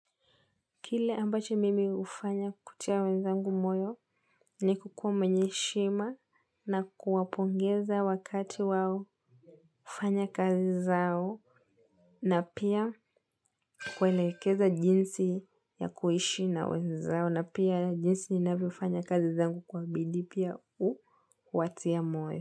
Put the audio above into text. Kile ambacho mimi hufanya kutia wenzangu moyo ni kukuwa mwenye heshima na kuwapongeza wakati wao hufanya kazi zao na pia kuwaelekeza jinsi ya kuishi na wenzao na pia jinsi ninavyofanya kazi zangu kwa bidii pia huwatia moyo.